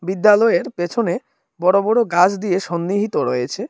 বিদ্যালয়ের পেছনে বড়ো বড়ো গাছ দিয়ে সন্নিহিত রয়েছে।